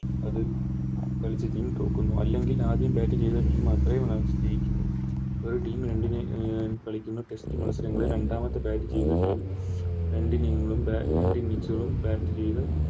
അത് കളിച്ച Team തോൽക്കുന്നു അല്ലെങ്കിൽ ആദ്യം Bat ചെയ്ത Team അത്രേം Runs ജയിക്കുന്നു ഒരു Team അഹ് കളിക്കുന്ന Test മത്സരങ്ങളിൽ രണ്ടാമത്തെ Bat ചെയ്യുന്ന Team രണ്ട് Inning കളും രണ്ട് Innings കളും Bat ചെയ്ത